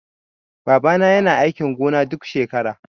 Baba na yana aikin gona duk shekara